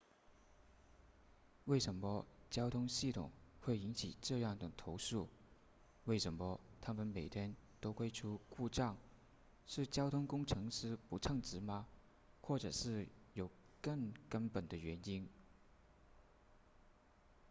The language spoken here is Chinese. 为什么交通系统会引起这样的投诉为什么它们每天都会出故障是交通工程师不称职吗或者是有更根本的原因